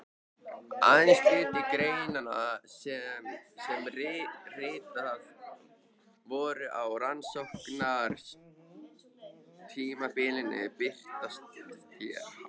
Aðeins hluti greinanna sem ritaðar voru á rannsóknartímabilinu birtast hér.